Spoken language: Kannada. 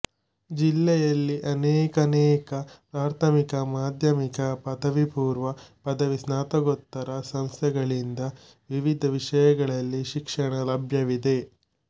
ಜಿಲ್ಲೆಯಲ್ಲಿ ಅನೇಕಾನೇಕ ಪ್ರಾಥಮಿಕ ಮಾಧ್ಯಮಿಕ ಪದವಿ ಪೂರ್ವ ಪದವಿ ಸ್ನಾತಕೋತ್ತರ ಸಂಸ್ಠೆಗಳಿಂದ ವಿವಿಧ ವಿಷಯಗಳಲ್ಲಿ ಶಿಕ್ಷಣ ಲಭ್ಯವಿದೆ